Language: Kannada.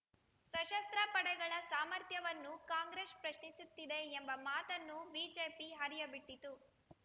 ಸಶಸ್ತ್ರ ಪಡೆಗಳ ಸಾಮರ್ಥ್ಯವನ್ನು ಕಾಂಗ್ರೆಸ್ ಪ್ರಶ್ನಿಸುತ್ತಿದೆ ಎಂಬ ಮಾತನ್ನು ಬಿಜೆಪಿ ಹರಿಯಬಿಟ್ಟಿತು